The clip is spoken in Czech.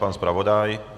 Pan zpravodaj?